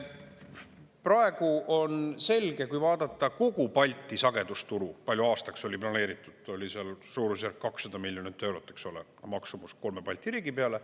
Praegu on selge, kui vaadata kogu Balti sagedusturu, palju aastaks oli planeeritud, oli seal suurusjärk 200 miljonit eurot, eks ole, maksumus kolme Balti riigi peale.